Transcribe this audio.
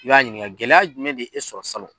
I b'a ɲininka gɛlɛya jumɛn de ye e sɔrɔ salon.